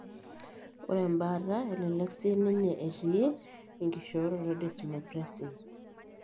Ore embaata elelek siininye etii enkishoroto edesmopressine.